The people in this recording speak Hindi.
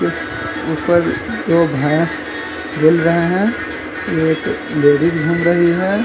इस ऊपर दो भैंस बिल रहे हैं एक लेडीज घूम रही है।